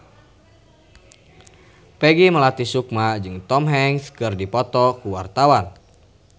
Peggy Melati Sukma jeung Tom Hanks keur dipoto ku wartawan